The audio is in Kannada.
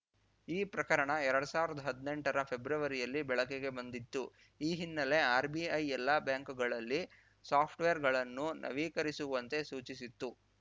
ಈ ಪ್ರಕರಣ ಎರಡ್ ಸಾವಿರ್ದಾ ಹದ್ನೆಂಟರ ಫೆಬ್ರವರಿಯಲ್ಲಿ ಬೆಳಕಿಗೆ ಬಂದಿತ್ತು ಈ ಹಿನ್ನೆಲೆ ಆರ್‌ಬಿಐ ಎಲ್ಲ ಬ್ಯಾಂಕುಗಳಲ್ಲಿ ಸಾಫ್ಟ್‌ವೇರ್‌ಗಳನ್ನು ನವೀಕರಿಸುವಂತೆ ಸೂಚಿಸಿತ್ತು